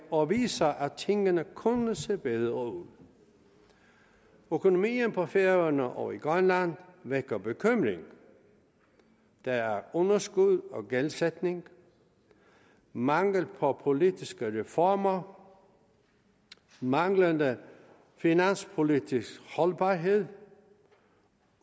og viser at tingene kunne se bedre ud økonomien på færøerne og i grønland vækker bekymring der er underskud og gældsætning mangel på politiske reformer manglende finanspolitisk holdbarhed